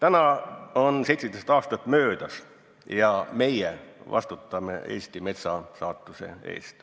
Sellest on 17 aastat möödas ja meie vastutame Eesti metsa saatuse eest.